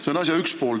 See on asja üks pool.